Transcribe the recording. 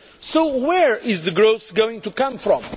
So where is the growth going to come from?